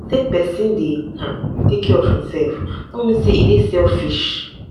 sey pesin dey um care of imsef no mean sey e dey selfish.